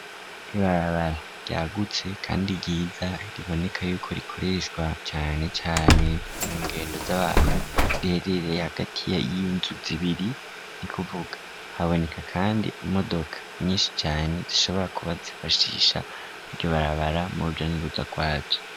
Ribarabara ryagutse, kandi ryiza riboneka yuko rikorershwa canecane mu ngendo z'abantu rereereye hagati ya iiynzuzibiri ni kuvuga haboneka, kandi imodoka nyinshi cane zishobora kuba zifashisha iryo barabara mu ruja n'uruda rwaju.